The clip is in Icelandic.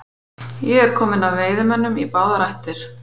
Ég er kominn af veiðimönnum í báðar ættir.